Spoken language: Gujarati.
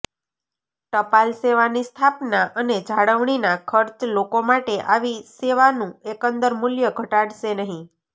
ટપાલ સેવાની સ્થાપના અને જાળવણીના ખર્ચ લોકો માટે આવી સેવાનું એકંદર મૂલ્ય ઘટાડશે નહીં